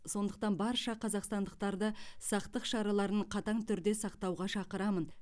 сондықтан барша қазақстандықтарды сақтық шараларын қатаң түрде сақтауға шақырамын